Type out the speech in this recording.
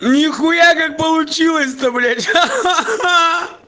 не хуя как получилось то блять ха ха ха